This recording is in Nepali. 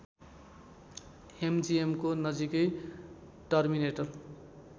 ‍एमजिएमको नजिकै टर्मिनेटर